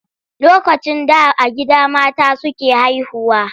Lokacin da a gida mata suke haihuwa.